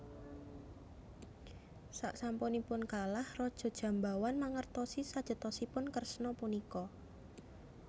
Saksampunipun kalah Raja Jambawan mangertosi sejatosipun Kresna punika